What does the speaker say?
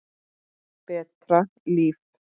Betra líf.